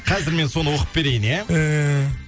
қазір мен соны оқып берейін иә ііі